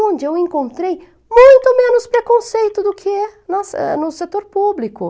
Onde eu encontrei muito menos preconceito do que nossa no setor público.